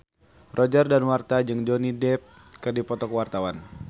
Roger Danuarta jeung Johnny Depp keur dipoto ku wartawan